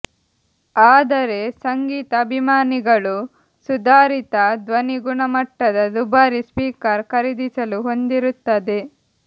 ಆದರೆ ಸಂಗೀತ ಅಭಿಮಾನಿಗಳು ಸುಧಾರಿತ ಧ್ವನಿ ಗುಣಮಟ್ಟದ ದುಬಾರಿ ಸ್ಪೀಕರ್ ಖರೀದಿಸಲು ಹೊಂದಿರುತ್ತದೆ